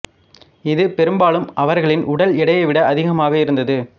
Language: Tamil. இது பெரும்பாலும் அவர்களின் உடல் எடையை விட அதிகமாக இருந்தது